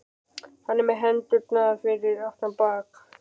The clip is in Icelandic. Hann er með hendurnar fyrir aftan bak.